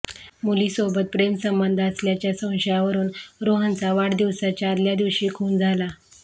मुलीसोबत प्रेमसंबंध असल्याच्या संशयावरून रोहनचा वाढदिवसाच्या आदल्या दिवशी खून झाला